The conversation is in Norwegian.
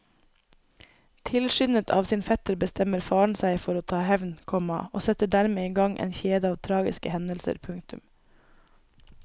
Tilskyndet av sin fetter bestemmer faren seg for å ta hevn, komma og setter dermed i gang en kjede av tragiske hendelser. punktum